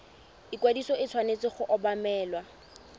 ikwadiso e tshwanetse go obamelwa